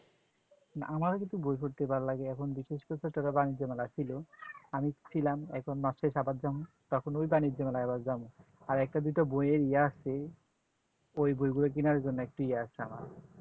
না আমারও কিন্তু বই পড়তে ভাল্লাগে বিশেষ করে একটা বাণিজ্য মেলা ছিল আমি ছিলাম এখন মাস শেষ আবার যামু ওই বাণিজ্য মেলায় আবার যামু আর একটা দুটো বই আর ই আছে ওই বই গুলো কেনার ইয়ে আছে